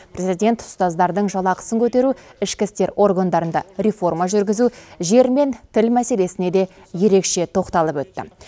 президент ұстаздардың жалақысын көтеру ішкі істер органдарында реформа жүргізу жер мен тіл мәселесіне де ерекше тоқталып өтті